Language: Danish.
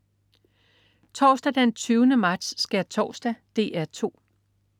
Torsdag den 20. marts. Skærtorsdag - DR 2: